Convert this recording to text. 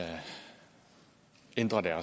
en række